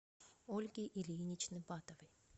ольги ильиничны батовой